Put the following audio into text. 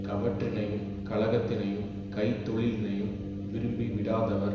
கவற்றினையும் கழகத்தினையும் கைத்தொழிலினையும் விரும்பி விடாதவர்